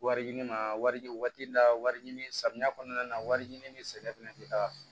Wari ɲini ma wari la wari ɲini samiya kɔnɔna na wari ɲini ni sɛnɛ fɛnɛ tɛ taa